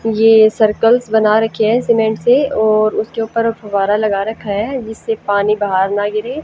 ये सर्कल्स बना रखे हैं सीमेंट से और उसके ऊपर फवारा लगा रखा है जिससे पानी बाहर ना गिरे।